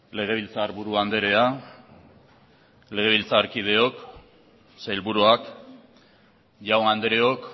legebiltzarburu andrea legebiltzarkideok sailburuak jaun andreok